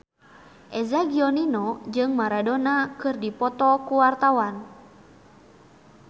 Eza Gionino jeung Maradona keur dipoto ku wartawan